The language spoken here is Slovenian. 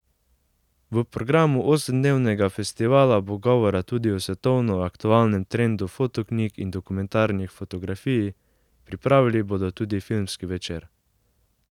V programu osemdnevnega festivala bo govora tudi o svetovno aktualnem trendu fotoknjig in dokumentarni fotografiji, pripravili bodo tudi filmski večer.